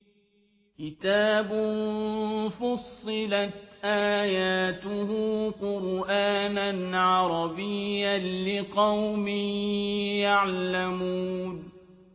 كِتَابٌ فُصِّلَتْ آيَاتُهُ قُرْآنًا عَرَبِيًّا لِّقَوْمٍ يَعْلَمُونَ